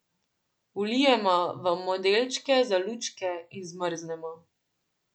Vlijemo v modelčke za lučke in zmrznemo.